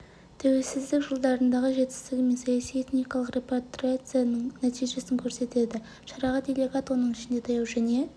тәуелсіздік жылдарындағы жетістігі мен саяси этникалық репатриацияның нәтижесін көрсетеді шараға делегат оның ішінде таяу және